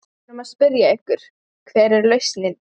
Við erum að spyrja ykkur, hver er lausnin?